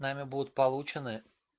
нами будут получены